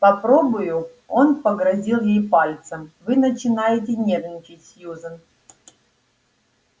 попробую он погрозил ей пальцем вы начинаете нервничать сьюзен